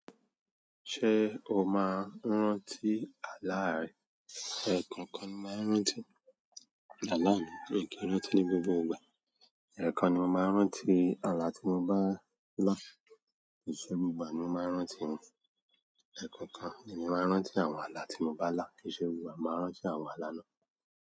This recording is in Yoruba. Ṣé o máa ń rántí àlá rẹ? Ẹ̀kọ̀kan ni mo máa ń rántí àlá mi. Mi kì í rántí ní gbogbo ìgbà. Ẹ̀kan ni mo máa ń rántí àlá tí mo bá là. Kì í ṣe gbogbo ìgbà ni mo máa ń rántí wọn. Ẹ̀kọ̀kan ni èmi máa ń rántí àwọn àlá tí mo bá là. Kì í ṣe gbogbo ìgbà mo máa ń rántí àwọn àlá náà.